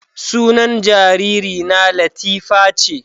Sunan jaririna latifa ce